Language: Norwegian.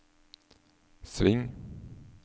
sving